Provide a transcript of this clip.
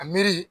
A miiri